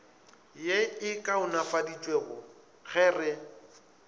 ye e kaonafaditšwego ge re